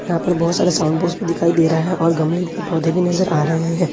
यहां पर बहुत सारे साउंड बॉक्स दिखाई दे रहा है और गमले के पौधे भी नजर आ रहे हैं।